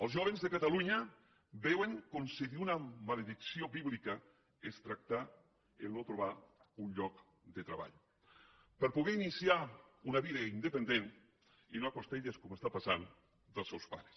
els jóvens de catalunya veuen com si d’una maledicció bíblica es tractés el fet de no trobar un lloc de treball per poder iniciar una vida independent i no a les costelles com està passant dels seus pares